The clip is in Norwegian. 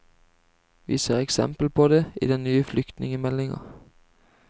Vi ser eksempel på det i den nye flyktningemeldinga.